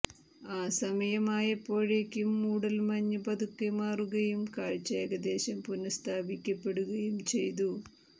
ആ സമയമായപ്പോഴേക്കും മൂടല്മഞ്ഞ് പതുക്കെ മാറുകയും കാഴ്ച ഏകദേശം പുനഃസ്ഥാപിക്കപ്പെടുകയും ചെയ്തു